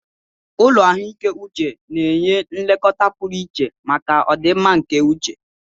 Ụlọ ahụike uche na-enye nlekọta pụrụ iche maka ọdịmma nke uche